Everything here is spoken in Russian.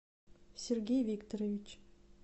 сергей викторович